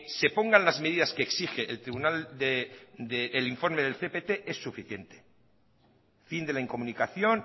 se pongan las medidas que exige el informe del cpt es suficiente fin de la incomunicación